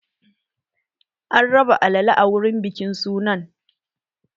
An raba alala a wurin bikin sunan